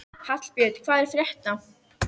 Hallbjörn, hvað er að frétta?